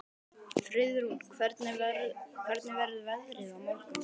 Friðrún, hvernig verður veðrið á morgun?